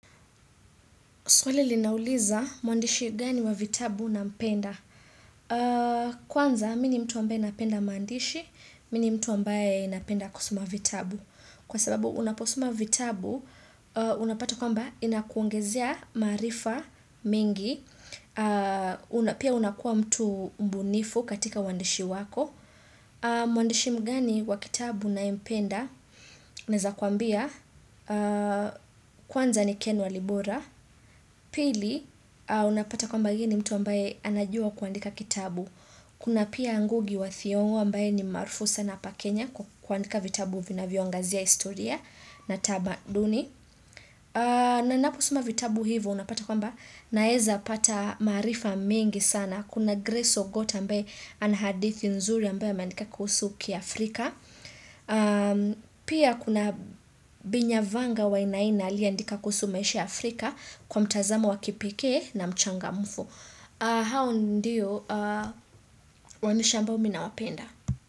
Swali linauliza, mwandishi gani wa vitabu nampenda. Kwanza mimi ni mtu ambaye napenda maandishi, mimi ni mtu ambaye napenda kusoma vitabu. Kwa sababu unaposoma vitabu, unapata kwamba inakuongezea maarifa mingi. Pia unakuwa mtu mbunifu katika uandishi wako. Mwandishi mgani wa kitabu ninayempenda? Naweza kuambia kwanza ni Ken Walibora. Pili, unapata kwamba yeye ni mtu ambaye anajua kuandika kitabu Kuna pia Ngugi wa Thiongo ambaye ni maraufu sana hapa Kenya. Kuandika vitabu vinavyoangazia historia na tamaduni. Na ninaposoma vitabu hivyo unapata kwamba, Naweza pata maarifa mingi sana. Kuna Grace Ogot ambaye ana hadithi nzuri ambaye ameandika kuhusu kiafrika Pia kuna Binyavanga Wainaina aliyeandika kuhusu maisha Afrika kwa mtazamo wa kipikee na mchangamfu. Hao ndiyo, waandishi amabo mimi nawapenda.